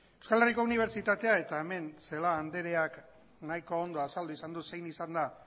euskal herriko unibertsitatea eta hemen celaá andreak nahiko ondo azaldu izan du zein izan den